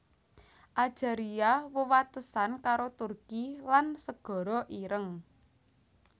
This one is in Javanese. Ajaria wewatesan karo Turki lan Segara Ireng